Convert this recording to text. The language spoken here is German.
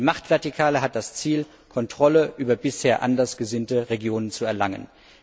Die Machtvertikale hat das Ziel, Kontrolle über bisher anders gesinnte Regionen zu erlangen.